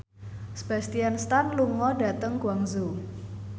Sebastian Stan lunga dhateng Guangzhou